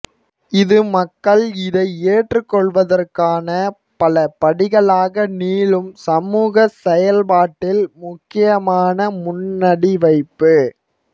இது மக்கள் இதை ஏற்றுக்கொள்வதற்கான பலபடிகளாக நீளும் சமூகச்செயல்பாட்டில் முக்கியமான முன்னடிவைப்பு